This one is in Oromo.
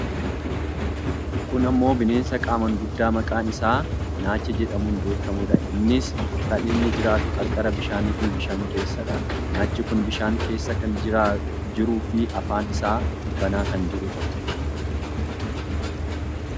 kun ammoo bineensa qaamaan guddaa maqaan isaa naacha jedhamuun beekkamudha. innis kan inni jiratu qarqara bishaanii fi bishaan keessadha. naachi kun bishaan keessa kan jiruufi afaan isaa banaa kan jirudha.